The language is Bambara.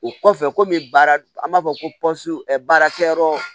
O kɔfɛ komi baara an b'a fɔ ko baarakɛyɔrɔ